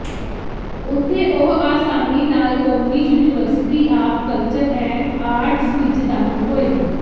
ਉੱਥੇ ਉਹ ਆਸਾਨੀ ਨਾਲ ਕੌਮੀ university of culture and arts ਵਿਚ ਦਾਖਲ ਹੋਏ